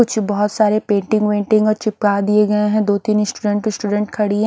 कुछ बहुत सारे पेंटिंग वेंटिंग वो चिपका दिए गए हैं दो तीन स्टूडेंट स्टूडेंट खड़ी हैं।